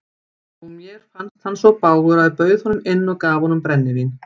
Og mér fannst hann svo bágur að ég bauð honum inn og gaf honum brennivín.